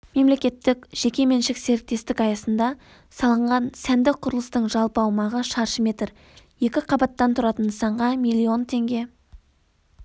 мемлекеттік-жекеменшік серіктестік аясында салынған сәнді құрылыстың жалпы аумағы шаршы метр екі қабаттан тұратын нысанға миллион теңге